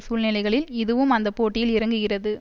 சூழ்நிலைகளில் இதுவும் அந்த போட்டியில் இறங்குகிறது